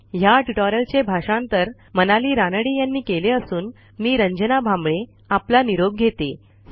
ह्या ट्युटोरियलचे भाषांतर मनाली रानडे यांनी केले असून मी रंजना भांबळे आपला निरोप घेते160